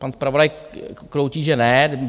Pan zpravodaj kroutí, že ne.